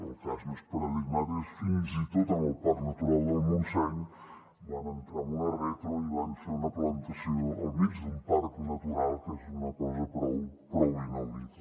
el cas més paradigmàtic fins i tot en el parc natural del montseny van entrar amb una retro i van fer una plantació al mig d’un parc natural que és una cosa prou inaudita